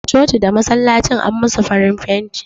Da coci da masallacin an musu farin fenti